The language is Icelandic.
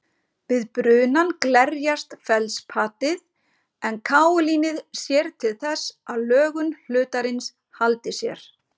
Við brunann glerjast feldspatið en kaólínið sér til þess að lögun hlutarins haldi sér.